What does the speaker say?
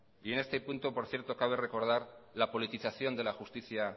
y en este punto por cierto cabe recordar la politización de la justicia